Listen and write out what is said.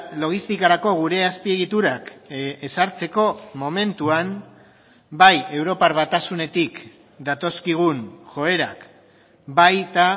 logistikarako gure azpiegiturak ezartzeko momentuan bai europar batasunetik datozkigun joerak baita